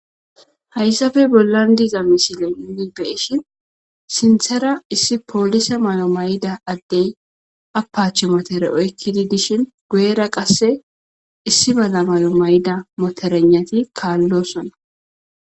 hayssafe bollan diiza misile nuni be'ishin sinthera issi poolisa mayo mayda addey apach motere oykkidi dishin guyera qasse issi mala mayo mayda moterenati kaallosona